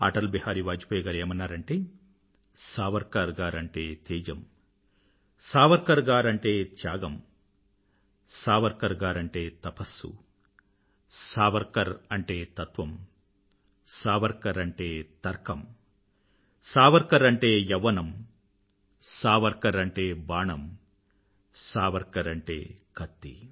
అటల్ బిహారీ వాజ్పాయ్ గారు ఏమన్నారంటే సావర్కర్ గారు అంటే తేజం సావర్కర్ గారు అంటే త్యాగం సావర్కర్ గారు అంటే తపస్సు సావర్కర్ అంటే తత్వం సావర్కర్ అంటే తర్కం సావర్కర్ అంటే యవ్వనం సావర్కర్ అంటే బాణం సావర్కర్ అంటే కత్తి